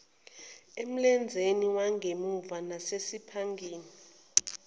emlenzeni wangemuva nasesiphangeni